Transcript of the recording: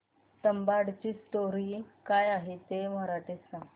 तुंबाडची स्टोरी काय आहे ते मराठीत सांग